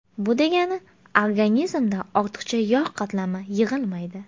Bu degani, organizmda ortiqcha yog‘ qatlami yig‘ilmaydi.